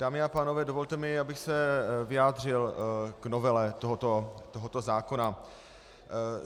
Dámy a pánové, dovolte mi, abych se vyjádřil k novele tohoto zákona.